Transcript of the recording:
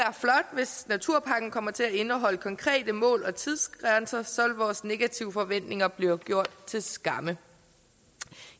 hvis naturpakken kommer til at indeholde konkrete mål og tidsgrænser så vil vores negative forventninger blive gjort til skamme